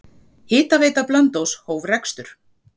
Hitaveita Blönduóss hóf rekstur.